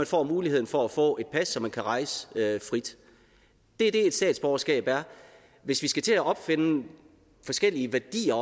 få muligheden for at få et pas så man kan rejse frit det er det et statsborgerskab er hvis vi skal til at opfinde forskellige værdier